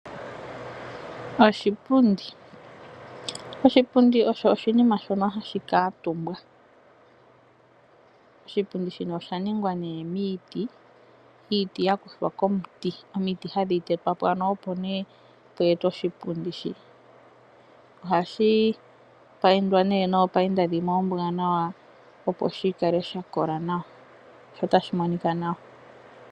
Oshipundi, oshipundi osho oshinima shoka hashi kaatumbwa. oshipundi shino osha ningwa nee miiti, iiti yaza komiti. Omiti hadhi tetwapo opo nee dhi ete oshipundi shi Ohashi payindwa nee noopayinda dhimwe oombwaanawa opo shikale shakola nawa notashi monika nawa.